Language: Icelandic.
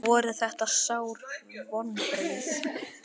Voru þetta sár vonbrigði?